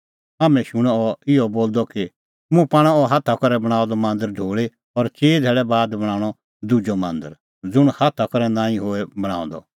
हाम्हैं शूणअ अह इहअ बोलदअ कि मुंह पाणअ अह हाथा करै बणांअ द मांदर ढोल़ी और चिई धैल़ै बाद बणांणअ दुजअ मांदर ज़ुंण हाथा करै नांईं होए बणांअ द